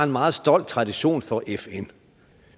meget stolt tradition for fn